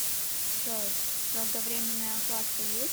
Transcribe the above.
джой долговремененная укладка есть